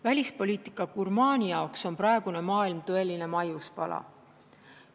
Välispoliitika gurmaani jaoks on praegune maailm tõeline maiuspala.